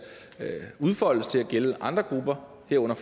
udfoldes til at gælde andre grupper herunder